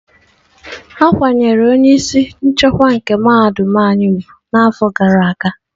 A kwanyere onye isi nchekwa nke mahadum anyị úgwù n'afọ gara aga.